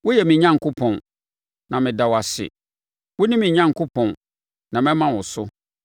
Woyɛ me Onyankopɔn, na meda wo ase; wone me Onyankopɔn, na mɛma wo so.